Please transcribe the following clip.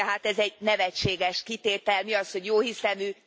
Tehát ez egy nevetséges kitétel, mi az, hogy jóhiszemű?